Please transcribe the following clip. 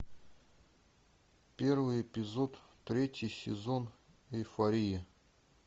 первый эпизод третий сезон эйфория